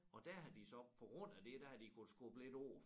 Og der har de så på grund af det der har de kunnet skubbe lidt på